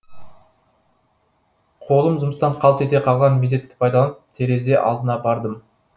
қолым жұмыстан қалт ете қалған мезетті пайдаланып терезе алдына бардым